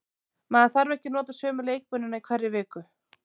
Maður þarf ekki að nota sömu leikmennina í hverri viku.